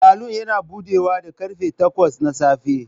Salon yana buɗewa da karfe takwas na safe.